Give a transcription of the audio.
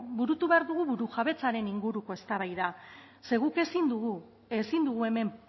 burutu behar dugu burujabetzaren inguruko eztabaida ze guk ezin dugu ezin dugu hemen